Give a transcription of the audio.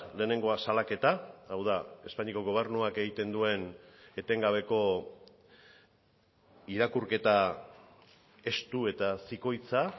lehenengoa salaketa hau da espainiako gobernuak egiten duen etengabeko irakurketa estu eta zikoitza